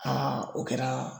o kɛra.